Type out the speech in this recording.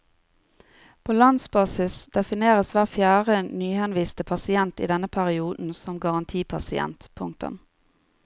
På landsbasis defineres hver fjerde nyhenviste pasient i denne perioden som garantipasient. punktum